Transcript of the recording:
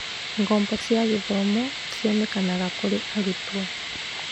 Ngombo cia gĩthomo cionekanaga kũrĩ arutwo.